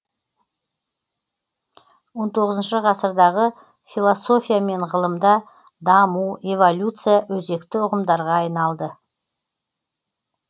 он тоғызыншы ғасырдағы философия мен ғылымда даму эволюция өзекті ұғымдарға айналды